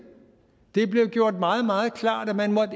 det blev gjort meget meget klart at man